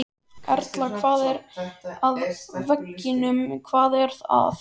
Erla: Hvað er að veginum, hvað er að?